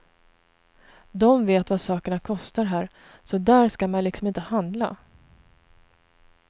De vet vad sakerna kostar här, så där skall man liksom inte handla.